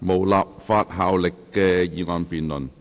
無立法效力的議案辯論。